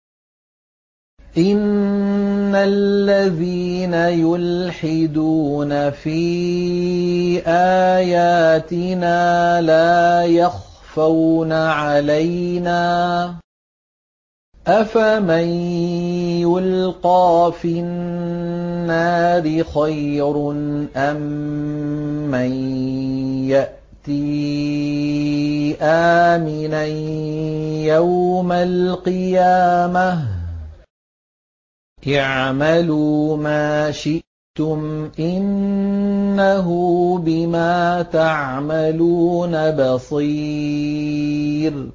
إِنَّ الَّذِينَ يُلْحِدُونَ فِي آيَاتِنَا لَا يَخْفَوْنَ عَلَيْنَا ۗ أَفَمَن يُلْقَىٰ فِي النَّارِ خَيْرٌ أَم مَّن يَأْتِي آمِنًا يَوْمَ الْقِيَامَةِ ۚ اعْمَلُوا مَا شِئْتُمْ ۖ إِنَّهُ بِمَا تَعْمَلُونَ بَصِيرٌ